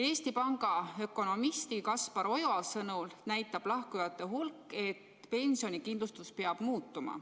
Eesti Panga ökonomisti Kaspar Oja sõnul näitab lahkujate hulk, et pensionikindlustus peab muutuma.